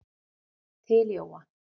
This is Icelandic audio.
Til Jóa.